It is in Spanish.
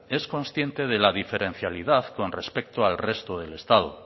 es consciente de la diferencialidad con respecto al resto del estado